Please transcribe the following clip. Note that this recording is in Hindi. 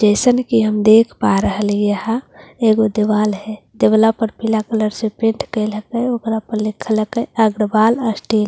जैसन की हम देख पा रहे यहां दीवाल है दिवला पर पीला कलर से पेट करके अग्रवाल --